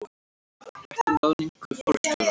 Rætt um ráðningu forstjórans